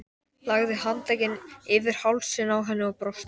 Lagði handlegginn yfir hálsinn á henni og brosti.